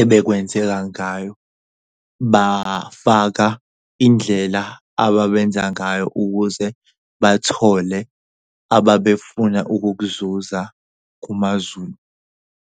ebekwenzeka ngayo, bafaka indlela ababenza ngayo ukuze bathole ababefunda ukuzuza kumaZulu.